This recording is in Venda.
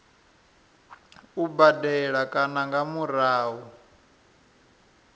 u badela kana nga murahu